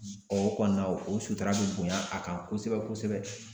O kɔni na o sutura be bonya a kan kosɛbɛ kosɛbɛ